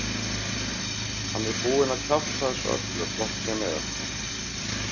Hann er búinn að kjafta þessu öllu hvort sem er.